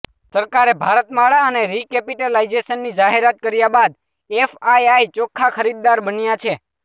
સરકારે ભારતમાળા અને રિકેપિટલાઇઝેશનની જાહેરાત કર્યા બાદ એફઆઇઆઇ ચોખ્ખા ખરીદદાર બન્યા છે